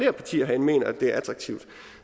af partier herinde mener at det er attraktivt